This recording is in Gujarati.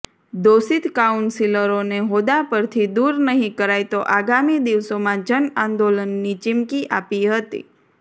દોષિત કાઉન્સિલરોને હોદ્દા પરથી દૂર નહીં કરાય તો આગામી દિવસોમાં જનઆંદોલનની ચીમકી આપી હતી